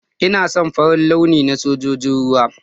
Ina son Farin launi na Sojojin ruwa.